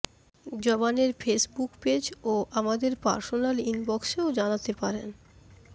জবানের Facebook page ও আমাদের পারসোনাল ইনবকসেও জানাতে পারেন